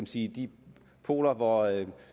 sige de poler hvor